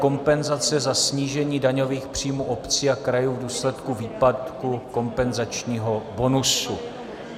Kompenzace za snížení daňových příjmů obcí a krajů v důsledku výpadku kompenzačního bonusu